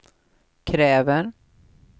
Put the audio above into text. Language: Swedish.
kräver